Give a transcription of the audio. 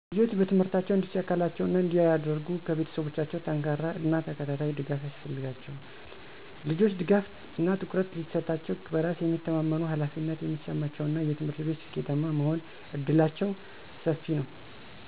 ልጆች በትምህርታቸው እንዲሳካላቸው እና እንዲያድርጉ ከቤተሰቦቻቸው ጠንካራ እና ተከታታይ ድጋፍ ያስፈልጋቸዋል። ይህም ማበረታታት፣ በቤት ውስጥ ሰላማዊ የሆነ የጥናት አካባቢ መፍጠር፣ መሰረታዊ የትምህርት ቁሳቁሶችን ማቅረብ እና ለአካዳሚክ እድገታቸው ፍላጎት እና ትኩረትን ማሳየትን ይጨምራል። ወላጆችም በአዎንታዊ ተግሣጽ ሊመክሯቸው፣ ትኩረት እንዲሰጡ ሊያበረታቷቸው እና ጥረቶቻቸውን እና ውጤቶቻቸውን ሊያከንሩ አለባቸው። ልጆች ድጋፍ እና ትኩረት ሲሰጣሸው በራስ የሚተማመመኑ፣ ኃላፊነት የሚሰማቸው እና በትምህርት ቤት ስኬታማ የመሆን እድላቸው ሰፊ ነው።